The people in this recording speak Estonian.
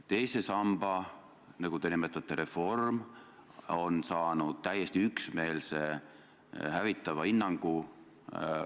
Teise samba reform, nagu te seda nimetate, on ekspertidelt saanud täiesti üksmeelse hävitava hinnangu.